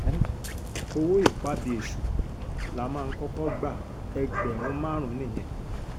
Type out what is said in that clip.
owó ìpabí èṣù la máa ń kọ́kọ́ gba ẹgbẹ̀rún márùn-ún nìyẹn